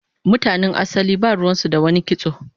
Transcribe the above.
Mutanen asali ba ruwan su da wani kitso